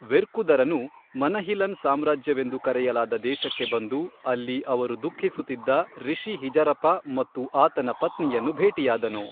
ವೆರ್ಕುದರನು ಮನಹಿಲನ್ ಸಾಮ್ರಾಜ್ಯವೆಂದು ಕರೆಯಲಾದ ದೇಶಕ್ಕೆ ಬಂದು, ಅಲ್ಲಿ ಅವರು ದುಃಖಿಸುತ್ತಿದ್ದ ರಿಷಿ ಹಿಜರಪಾ ಮತ್ತು ಆತನ ಪತ್ನಿಯನ್ನು ಭೇಟಿಯಾದನು.